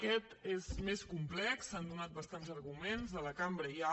aquest és més complex s’han donat bastants arguments a la cambra ja